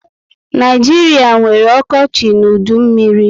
Naijiria nwere okochi na udu mmírí